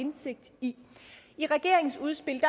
indsigt i i regeringens udspil